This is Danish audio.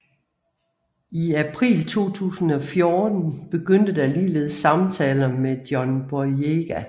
I april 2014 begyndte der ligeledes samtaler med John Boyega